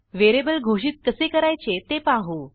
variable घोषित कसे करायचे ते पाहू